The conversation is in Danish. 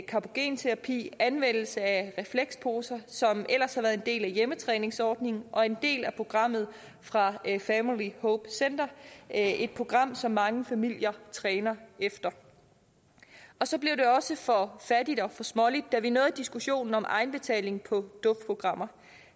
carbogenterapi anvendelse af refleksposer som ellers har været en del af hjemmetræningsordningen og en del af programmet fra family hope center et program som mange familier træner efter så blev det også for fattigt og for småligt da vi nåede diskussionen om egenbetaling på duftprogrammer